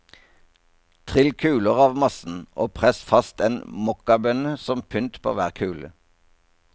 Trill kuler av massen og press fast en mokkabønne som pynt på hver kule.